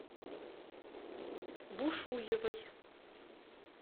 бушуевой